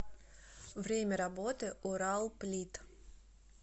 время работы уралплит